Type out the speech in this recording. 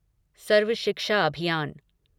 सर्व शिक्षा अभियान